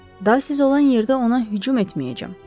Daha siz olan yerdə ona hücum etməyəcəm.